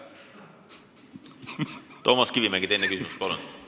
Toomas Kivimägi, teine küsimus, palun!